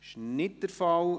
– Das ist nicht der Fall.